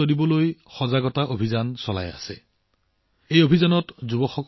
নিচাযুক্ত দ্ৰব্যৰ বিৰুদ্ধে অভিযানত যুৱকযুৱতীসকলৰ অংশগ্ৰহণ বৃদ্ধি পোৱাটো অতি উৎসাহজনক